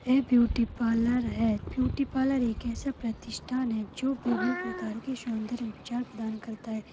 यह beauty parlour है beauty parlour एक ऐसा प्रतिष्ठान है जो विभिन्न प्रकार के सौंदर्य उपचार प्रदान करता है।